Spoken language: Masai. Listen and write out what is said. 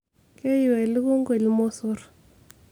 keyiu elukunku ilmosorr